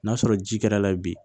N'a sɔrɔ ji kɛr'a la bi